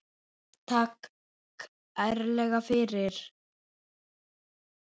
Takk kærlega fyrir.